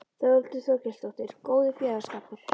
Þórhildur Þorkelsdóttir: Góður félagsskapur?